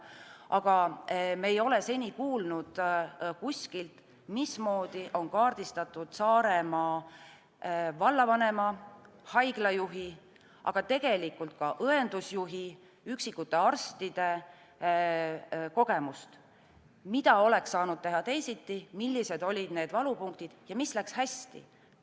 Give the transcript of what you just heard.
Aga me ei ole seni kuulnud kuskilt, mismoodi on kaardistatud Saaremaa vallavanema, haiglajuhi, aga ka õendusjuhi, üksikute arstide kogemust – mida oleks saanud teha teisiti, millised olid valupunktid ja mis läks hästi.